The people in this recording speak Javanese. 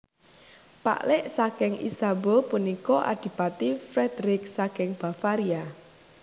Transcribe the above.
Paklik saking Isabeau punika Adipati Frederick saking Bavaria